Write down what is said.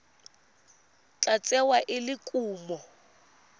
tla tsewa e le kumo